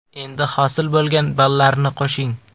Endi hosil bo‘lgan ballarni qo‘shing.